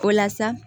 O la sa